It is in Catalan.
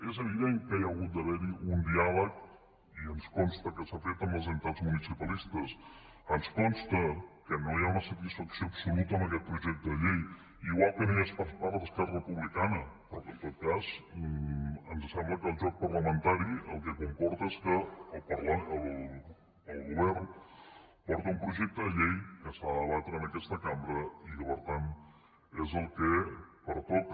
és evident que hi hagut d’haver un diàleg i ens consta que s’ha fet amb les entitats municipalistes ens consta que no hi ha una satisfacció absoluta amb aquest projecte de llei igual que no hi és per part d’esquerra republicana però que en tot cas ens sembla que el joc parlamentari el que comporta és que el govern porta un projecte de llei que s’ha de debatre en aquesta cambra i que per tant és el que pertoca